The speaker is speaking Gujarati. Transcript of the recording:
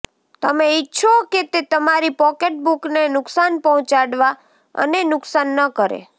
તમે ઇચ્છો કે તે તમારી પોકેટબુકને નુકસાન પહોંચાડવા અને નુકસાન ન કરે